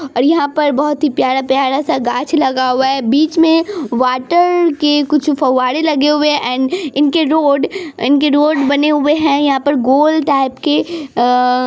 और यहाँ पर बोहोत ही प्यारा-प्यारा सा गाच लगा हुआ है बीच मे वाटर के कुछ फबबरे लगे हुए है एण्ड इनके रोड इनके रोड बने हुए है यहाँ पर गोल टाइप के अ--